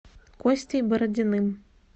костей бородиным